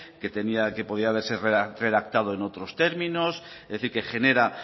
que podía ser redactado en otros términos es decir que genera